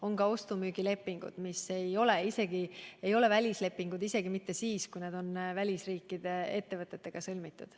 On ka ostu-müügilepingud, mis ei ole välislepingud, isegi mitte siis, kui need on välisriikide ettevõtetega sõlmitud.